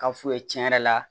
Ka fu ye cɛn yɛrɛ la